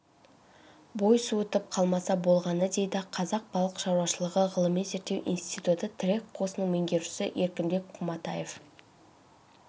бой суытып қалмаса болғаны дейді қазақ балық шаруашылығы ғылыми-зерттеу институты тірек қосынының меңгерушісі еркінбек құматаев